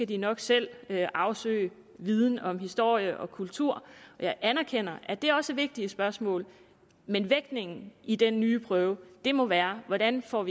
de nok selv skal afsøge viden om historie og kultur jeg anerkender at det også er vigtige spørgsmål men vægtningen i den nye prøve må være hvordan vi får